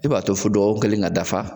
E b'a to fo dɔgɔkun kelen ka dafa